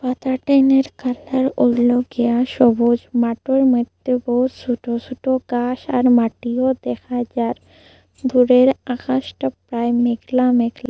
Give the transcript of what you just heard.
সবুজ মাটোর মদ্যে বহু ছোট ছোট গাস আর মাটি ও দেখা যার দূরের আকাশটা প্রায় মেঘলা মেঘলা।